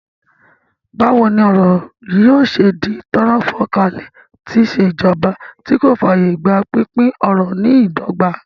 Báwo ni ọrọ̀ yóò ṣe di tọ́rọ́ fán kálé tí ìṣèjọba tí kò fààyè gba pínpín ọrọ̀ ní ìdọ́gba?